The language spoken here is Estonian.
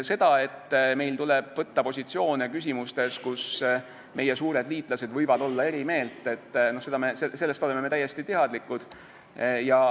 Sellest, et meil tuleb võtta positsioone küsimustes, kus meie suured liitlased võivad olla meist erinevat meelt, oleme me teadlikud.